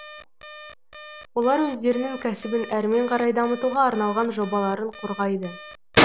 олар өздерінің кәсібін әрмен қарай дамытуға арналған жобаларын қорғайды